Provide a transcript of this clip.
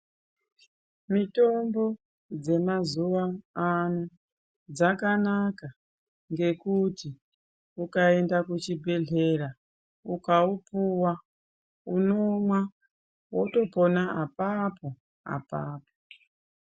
Mitombo dzemazuva ano dzakanaka ngekuti ukaenda kuchibhedhlera ukaupuwa unomwa wotopona apapo apapo.